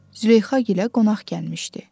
Züleyxa gilə qonaq gəlmişdi.